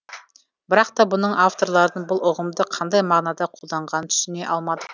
бірақ та бұның авторларының бұл ұғымды қандай мағынада қолданғанын түсіне алмадық